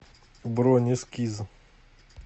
бронь эскиз